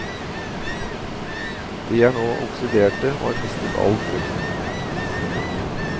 De er nå oksiderte og har mistet all frukt.